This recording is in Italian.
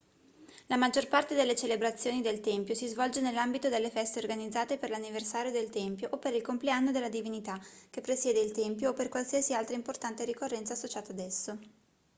la maggior parte delle celebrazioni del tempio si svolge nell'ambito delle feste organizzate per l'anniversario del tempio o per il compleanno della divinità che presiede il tempio o per qualsiasi altra importante ricorrenza associata a esso